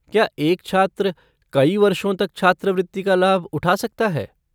क्या एक छात्र कई वर्षों तक छात्रवृत्ति का लाभ उठा सकता है?